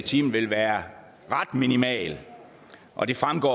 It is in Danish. time vil være ret minimal og det fremgår